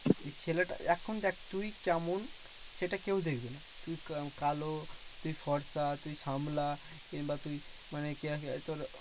ছেলেটা এখন দেখ তুই কেমন? সেটা কেউ দেখবে না। তুই কা কালো, তুই ফর্সা, তুই শ্যামলা, কিংবা তুই মানে তোর